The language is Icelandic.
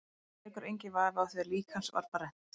Hins vegar leikur enginn vafi á því að lík hans var brennt.